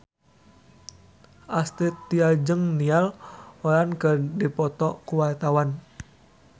Astrid Tiar jeung Niall Horran keur dipoto ku wartawan